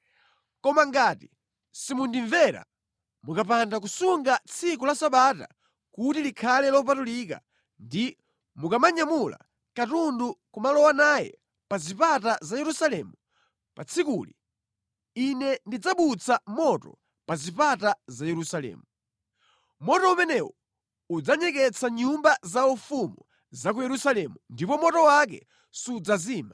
Koma ngati simundimvera; mukapanda kusunga tsiku la Sabata kuti likhale lopatulika ndi kumanyamula katundu nʼkumalowa naye pa zipata za Yerusalemu pa tsikuli, Ine ndidzabutsa moto pa zipata za Yerusalemu. Moto umenewo udzanyeketsa nyumba zaufumu za ku Yerusalemu ndipo moto wake sudzazima.’ ”